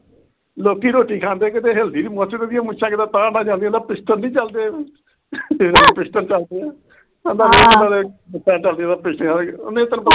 ਲੋਕੀ ਰੋਟੀ ਖਾਂਦੇ ਆ ਕਿਤੇ ਹਿਲਦੀ ਨੀ ਮੁੱਛ, ਤੇ ਇਹਦੀਆਂ ਮੁੱਛਾਂ ਕਿਵੇਂ ਤਾਅ ਤਾਅ ਜਾਂਦੀਆਂ, ਜਿਵੇਂ pistol ਨੀ ਚੱਲਦੇ। pistol ਚੱਲਦੇ ਆ। ਕਹਿੰਦਾ ਨਹੀਂ ਤੈਨੂੰ ਪਤਾ ਤੇ ਏ